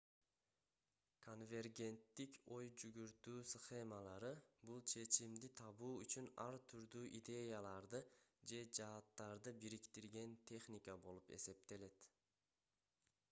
конвергенттик ой жүгүртүү схемалары бул чечимди табуу үчүн ар түрдүү идеяларды же жааттарды бириктирген техника болуп саналат